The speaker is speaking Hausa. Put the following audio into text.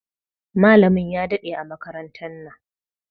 Malamin ya ɗade a makarantan nan.